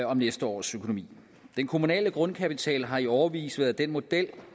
om næste års økonomi den kommunale grundkapital har i årevis været den model